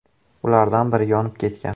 Ulardan biri yonib ketgan.